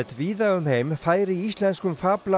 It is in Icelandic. víða um heim færi íslenskum